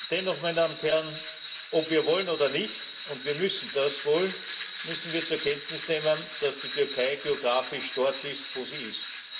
Dennoch, meine Damen und Herren, ob wir wollen oder nicht und wir müssen das wohl müssen wir zur Kenntnis nehmen, dass die Türkei geografisch dort ist, wo sie ist.